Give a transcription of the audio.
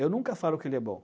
Eu nunca falo que ele é bom.